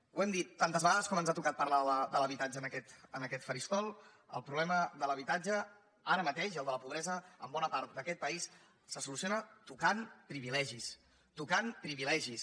ho hem dit tantes vegades com ens ha tocat parlar de l’habitatge en aquest faristol el problema de l’habitat·ge ara mateix i el de la pobresa en bona part d’aquest país se soluciona tocant privilegis tocant privilegis